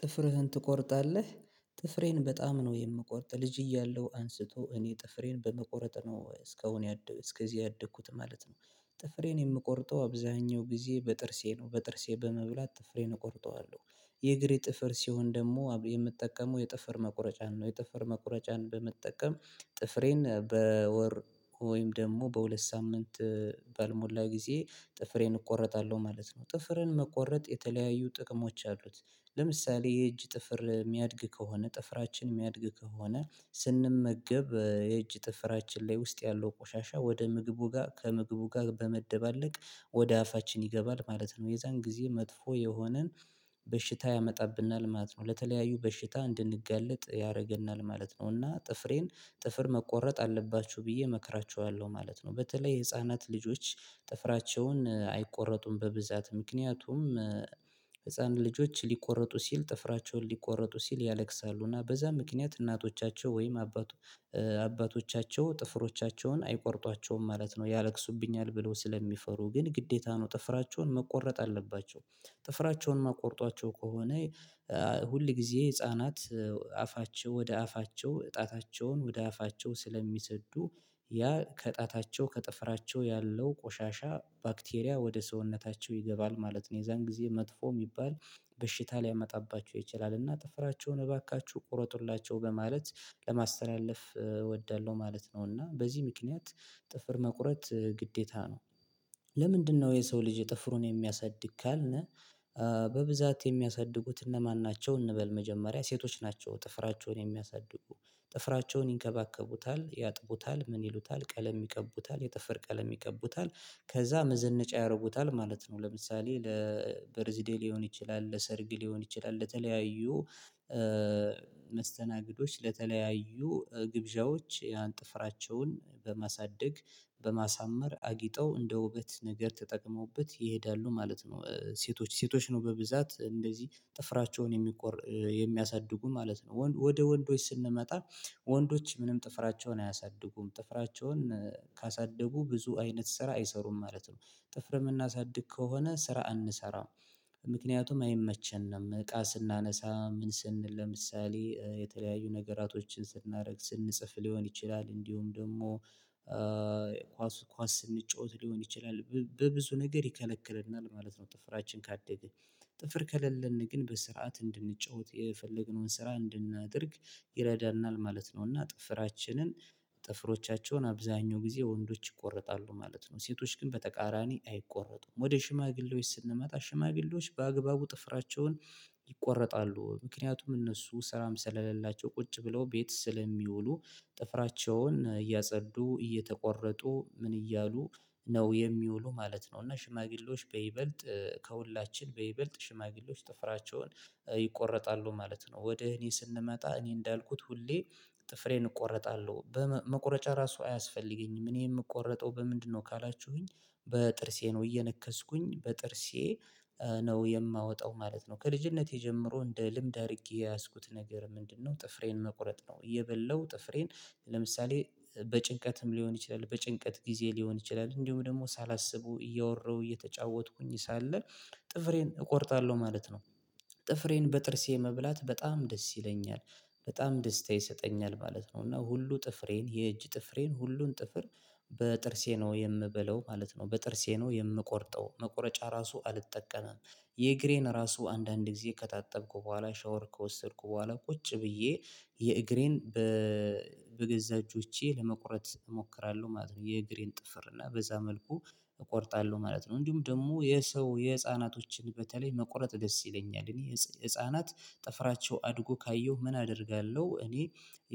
ጥፍርህን ትቆርጣለህ? ጥፍሬን በጣም ነው የምቆርጥ ልጅ እያለሁ አንስቶ እኔ ጥፍሬን በመቆረጥ ነው እስካሁን እስከዚህ ያደግኩት ማለት ነው። ጥፍሬን የምቆርጠው አብዛኛው ጊዜ በጥርሴ ነው በጥርሴ በመብላት ጥፍሬን እቆርጠዋለሁ። የእግሬ ጥፍር ሲሆን ደግሞ የምጠቀመው የጥፍር መቁረጫን ነው የጥፍር መቁረጫን በመጠቀም። ጥፍሬን በወር ወይም ደግሞ በሁለት ሳምንት ባልሞላ ጊዜ ጥፍሬን እቆረጣለሁ ማለት ነው። ጥፍርን መቆረጥ የተለያዩ ጥቅሞች አሉት። ለምሳሌ የእጅ ጥፍር የሚያድግ ከሆነ ጥፍራችን የሚያድግ ከሆነ ስንመገብ የእጅ ጥፍራችን ላይ ውስጥ ያለው ቆሻሻ ወደ ምግቡ ጋር ከምግቡ ጋር በመደባለቅ ወደ አፋችን ይገባል ማለት ነው የዛን ጊዜ መጥፎ የሆነን በሽታ ያመጣብናል ማለት ነው። ለተለያዩ በሽታ እንድንጋለጥ ያደርገናል ማለት ነው። እና ጥፍሬን ጥፍር መቆረጥ አለባችሁ ብዬ እመክራችኋለሁ ማለት ነው። በተለይ የህፃናት ልጆች ጥፍራቸውን አይቆረጡም በብዛት ምክንያቱም ህፃናት ልጆች ሊቆረጡ ሲል ጥፍራቸውን ሊቆረጡ ሲል ያለቅሳሉ እና በዛ ምክንያት እናቶቻቸው ወይም አባቱ አባቶቻቸው ጥፍሮቻቸውን አይቆርጧቸውም ማለት ነው ያለቅሱብኛል ብለው ስለሚፈሩ ግን ግዴታ ነው ጥፍራቸውን መቆረጥ አለባቸው። ጥፍራቸውን ማትቆርጧቸው ከሆነ ሁል ጊዜ ህፃናት አፋቸው ወደ አፋቸው ጣታቸውን ወደ አፋቸው ስለሚሰዱ ያ ከጣታቸው ከጥፍራቸው ያለው ቆሻሻ ባክቴሪያ ወደ ሰውነታቸው ይገባል ማለት ነው። የዛን ጊዜ መጥፎ የሚባል በሽታ ሊያመጣባቸው ይችላል። እና ጥፍራቸውን እባካችሁ ቁረጡላቸው በማለት ለማስተላለፍ እወዳለሁ ማለት ነው። እና በዚህ ምክንያት ጥፍር መቁረጥ ግዴታ ነው። ለምንድነው የሰው ልጅ ጥፍሩን የሚያሳድግ ካልን በብዛት የሚያሳድጉት እነማን ናቸው? እንበል መጀመሪያ ሴቶች ናቸው ጥፍራቸውን የሚያሳድጉ ጥፍራቸውን ይንከባከቡታል ያጥቡታል ምን ይሉታል ቀለም ይቀቡታል የጥፍር ቀለም ይቀቡታል ከዛ መዘነጫ ያደርጉታል ማለት ነው። ለምሳሌ ለበርዝ ደይ ሊሆን ይችላል ለሰርግ ሊሆን ይችላል ለተለያዩ መስተናግዶች ለተለያዩ ግብዣዎች ያን ጥፍራቸውን በማሳደግ በማሳመር አጊጠው እንደ ውበት ነገር ተጠቅመውበት ይሄዳሉ ማለት ነው። ሴቶች ሴቶች ነው በብዛት እንደዚህ ጥፍራቸውን የሚቆር የሚያሳድጉ ማለት ነው። ወደ ወንዶች ስንመጣ ወንዶች ምንም ጥፍራቸውን አያሳድጉም ጥፍራቸውን ካሳደጉ ብዙ አይነት ስራ አይሰሩም ማለት ነው። ጥፍር የምናሳድግ ከሆነ ስራ አንሰራም ምክንያቱም አይመቸንም እቃ ስናነሳ ምን ስን ለምሳሌ የተለያዩ ነገራቶችን ስናደርግ ስንጽፍ ሊሆን ይችላል እንዲሁም ደግሞ ኳስ ኳስ ስንጫወት ሊሆን ይችላል በብዙ ነገር ይከለክለናል ማለት ነው። ጥፍራችን ካደገ ጥፍር ከሌለን ግን በስርዓት እንድንጫወት የፈለግነውን ስራ እንድናደርግ ይረዳናል ማለት ነው። እና ጥፍራችንን ጥፍሮቻቸውን አብዛኛው ጊዜ ወንዶች ይቆርጣሉ ማለት ነው። ሴቶች ግን በተቃራኒ አይቆረጡም ወደ ሽማግሌዎች ስንመጣ ሽማግሌዎች በአግባቡ ጥፍራቸውን ይቆረጣሉ ምክንያቱም እነሱ ስራም ስለሌላቸው ቁጭ ብለው ቤት ስለሚውሉ ጥፍራቸውን እያጸዱ እየተቆረጡ ምን እያሉ ነው የሚውሉ ማለት ነው። እና ሽማግሌዎች በይበልጥ ከሁላችን በይበልጥ ሽማግሌዎች ጥፍራቸውን ይቆረጣሉ ማለት ነው። ወደ እኔ ስንመጣ እኔ እንዳልኩት ሁሌ ጥፍሬን እቆርጣለሁ በመቁረጫ ራሱ አያስፈልገኝም እኔ የምቆርጠው በምንድነው ካላችሁኝ በጥርሴ ነው እየነከስኩኝ በጥርሴ ነው የማወጣው ማለት ነው። ከልጅነቴ ጀምሮ እንደ ልምድ አድርጌ የያዝኩት ነገር ምንድነው ጥፍሬን መቁረጥ ነው? እየበላው ጥፍሬን ለምሳሌ በጭንቀትም ሊሆን ይችላል በጭንቀት ጊዜ ሊሆን ይችላል እንዲሁም ደግሞ ሳላስበው እያወራሁ እየተጫወትኩኝ ሳለ ጥፍሬን እቆርጣለሁ ማለት ነው። ጥፍሬን በጥርሴ መብላት በጣም ደስ ይለኛል በጣም ደስታ ይሰጠኛል ማለት ነው። እና ሁሉ ጥፍሬን የእጅ ጥፍሬን ሁሉን ጥፍር በጥርሴ ነው የምበለው ማለት ነው። በጥርሴ ነው የምቆርጠው መቁረጫ ራሱ አልጠቀምም። የእግሬን ራሱ አንዳንድ ጊዜ ከታጠብኩ በኋላ ሻወር ከወሰድኩ በኋላ ቁጭ ብዬ የእግሬን በገዛ እጆቼ ለመቁረጥ እሞክራለሁ ማለት ነው። የእግሬን ጥፍር እና በዛ መልኩ እቆርጣለሁ ማለት ነው። እንዲሁም ደግሞ የሰው የህፃናቶችን በተለይ መቁረጥ ደስ ይለኛል እኔ ህፃናት ጥፍራቸው አድጎ ካየሁ ምን አደርጋለሁ እኔ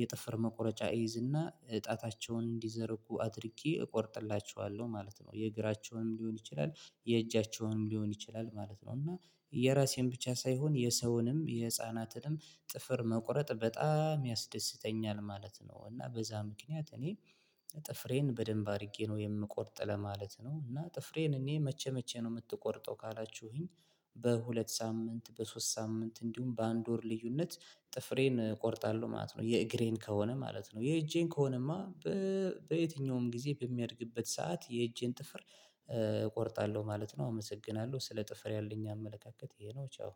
የጥፍር መቆረጫ እይዝና ጣታቸውን እንዲዘረጉ አድርጌ እቆርጥላቸዋለሁ ማለት ነው። የእግራቸውም ሊሆን ይችላል የእጃቸውንም ሊሆን ይችላል ማለት ነው። እና የራሴን ብቻ ሳይሆን የሰውንም የህፃናትንም ጥፍር መቁረጥ በጣም ያስደስተኛል ማለት ነው። እና በዛ ምክንያት እኔ ጥፍሬን በደንብ አድርጌ ነው የምቆርጥ ለማለት ነው። እና ጥፍሬን እኔ መቼ መቼ ነው የምትቆርጠው ካላችሁኝ? በሁለት ሳምንት በሶስት ሳምንት እንዲሁም በአንድ ወር ልዩነት ጥፍሬን እቆርጣለሁ ማለት ነው። የእግሬን ከሆነ ማለት ነው የእጄን ከሆነማ በየትኛውም ጊዜ በሚያድግበት ሰዓት የእጄን ጥፍር እቆርጣለሁ ማለት ነው። አመሰግናለሁ ስለ ጥፍር ያለኝ አመለካከት ይሄ ነው። ቻው